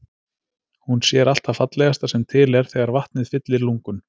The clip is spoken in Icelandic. Hún sér allt það fallegasta sem til er þegar vatnið fyllir lungun.